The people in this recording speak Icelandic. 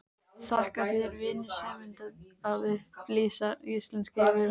Þakka þér vinsemdina að upplýsa íslensk yfirvöld.